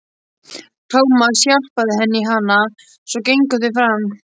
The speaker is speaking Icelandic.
Tómas hjálpaði henni í hana, svo gengu þau fram.